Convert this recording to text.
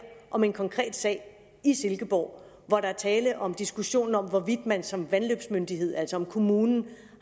om en konkret sag i silkeborg hvor der er tale om en diskussion om hvorvidt man som vandløbsmyndighed altså hvorvidt kommunen